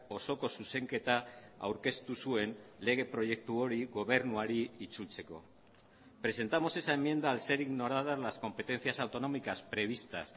osoko zuzenketa aurkeztu zuen lege proiektu hori gobernuari itzultzeko presentamos esa enmienda al ser ignoradas las competencias autonómicas previstas